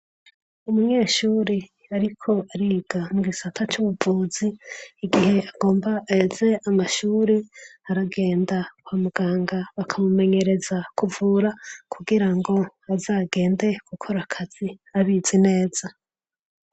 Umunyeshuri ariko ariga mu gisata c'ubuvuzi, igihe agomba aheze amashuri, aragenda kwa muganga bakamumenyereza kuvura, kugira ngo aze agende gukora akazi abizi neza.